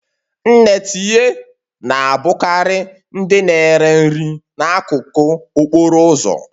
Nne tinye na-abụkarị ndị na-ere nri n'akụkụ okporo ụzọ